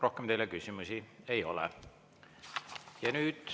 Rohkem teile küsimusi ei ole.